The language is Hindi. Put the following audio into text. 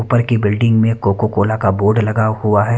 ऊपर की बिल्डिंग मे कोको- कोला का बोर्ड लगा हुआ है।